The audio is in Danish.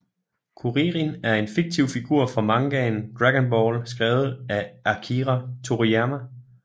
Kuririn er en fiktiv figur fra mangaen Dragon Ball skrevet af Akira Toryiama